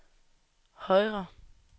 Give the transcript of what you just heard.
højre